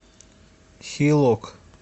хилок